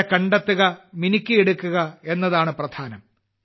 അവരെ കണ്ടെത്തുക മിനുക്കിയെടുക്കു എന്നതാണ് പ്രധാനം